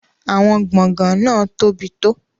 Àwọn gbọ̀ngàn náà tóbi tó.